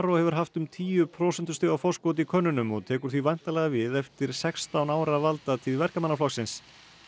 hefur haft um tíu prósentustiga forskot í könnunum og tekur því væntanlega við eftir sextán ára valdatíð Verkamannaflokksins